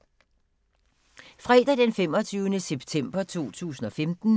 Fredag d. 25. september 2015